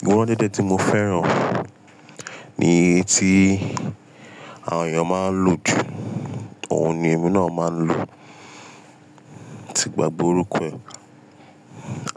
Ìgbọ́n dédé tí mo fẹ́ràn ni èyí tí àwọn èèyàn máa ń lò jù, òun ni ẹmi náà máa ń lò ti gbàgbe orukọ ẹ́.